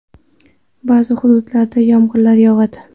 Ba’zi hududlarda yomg‘ir yog‘adi.